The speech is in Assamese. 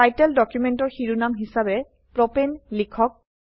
টাইটেল ডকুমেন্টৰ শিৰোনাম হিসাবে প্ৰপাণে লিখক